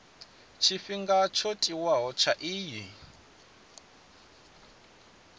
tshifhinga tsho tiwaho tsha iyi